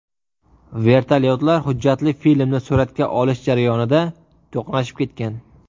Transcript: Vertolyotlar hujjatli filmni suratga olish jarayonida to‘qnashib ketgan.